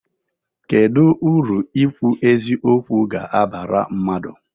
Kedụ uru ikwu eziokwu ga-abara mmadụ?